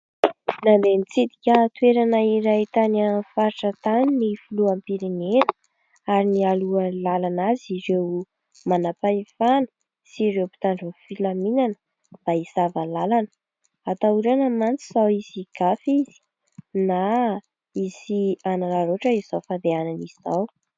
Nandeha nitsidika toerana iray tany amin'ny faritra tany ny filoham-pirenena ary nialoha lalana azy ireo manam-pahefana sy ireo mpitandro ny filaminana mba hisava lalana. Atahorana mantsy sao hisy higafy izy na hisy anararaotra izao fandehanana izao.